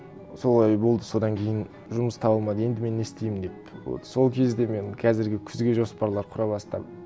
солай болды содан кейін жұмыс табылмады енді мен не істеймін деп вот сол кезде мен қазіргі күзге жоспарлар құра бастадым